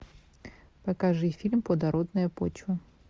покажи фильм плодородная почва